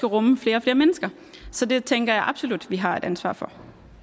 rumme flere og flere mennesker så det tænker jeg absolut vi har et ansvar for